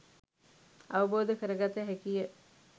අවබෝධ කරගත හැකිය